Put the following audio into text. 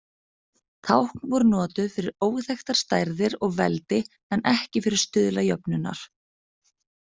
Tákn voru notuð fyrir óþekktar stærðir og veldi en ekki fyrir stuðla jöfnunnar.